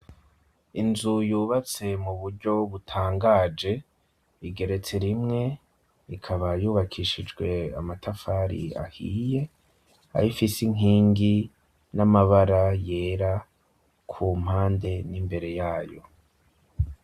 Inzu yubatse mu buryo butangaje, igeretse rimwe, ikaba yubakishijwe amatafari ahiye, aho ifise inkingi n'amabara yera ku mpande n'imbere yayo.